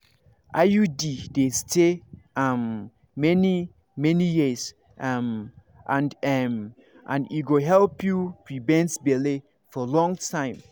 iud dey stay um many-many years um and um and e go help you prevent belle for long time.